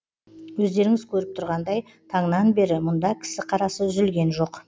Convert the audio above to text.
өздеріңіз көріп тұрғандай таңнан бері мұнда кісі қарасы үзілген жоқ